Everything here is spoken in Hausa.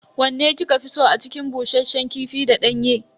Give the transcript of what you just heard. Wanne kika fi so a cikin bushasshen kifi da danyen?